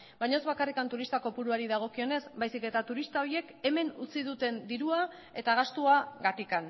baina ez bakarrik turista kopuruari dagokionez baizik eta turista horiek hemen utzi duten dirua eta gastuagatik